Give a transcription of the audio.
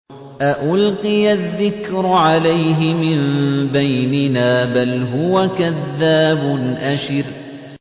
أَأُلْقِيَ الذِّكْرُ عَلَيْهِ مِن بَيْنِنَا بَلْ هُوَ كَذَّابٌ أَشِرٌ